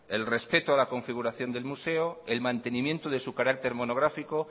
el respeto a la configuración del museo el mantenimiento de su carácter monográfico